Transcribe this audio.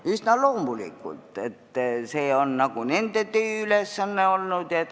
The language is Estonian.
Üsna loomulikult, sest see on seni olnud nende tööülesanne.